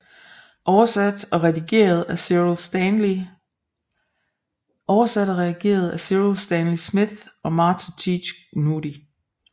Over sat og redigeret af Cyril Stanley Smith og Martha Teach Gnudi